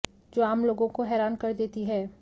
जो आम लोगों को हैरान कर देती है